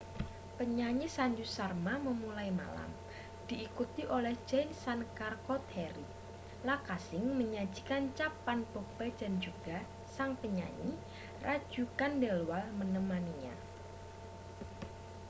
penyanyi sanju sharma memulai malam diikuti oleh jai shankar choudhary lakkha singh menyajikan chhappan bhog bhajan juga sang penyanyi raju khandelwal menemaninya